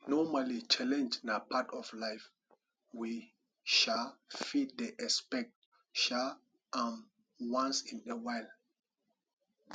normally challenge na part of life we um fit dey excpect um am once in a while